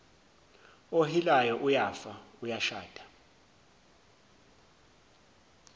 ohilayo uyafa uyashada